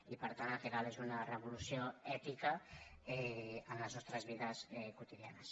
i per tant el que cal és una revolució ètica en les nostres vides quotidianes